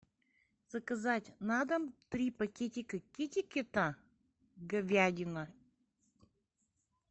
заказать на дом три пакетика китекета говядина